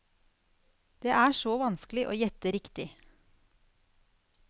Det er så vanskelig å gjette riktig.